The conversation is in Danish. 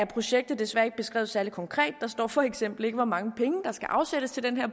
projektet desværre ikke beskrevet særlig konkret der står for eksempel ikke hvor mange penge der skal afsættes til den